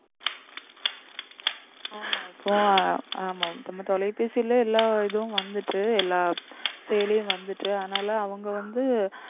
ஆமா நம்ம தொலைபேசியில எல்லா இதுவும் வந்துட்டு எல்லா செயலியும் வந்துட்டு அதனால அவங்க வந்து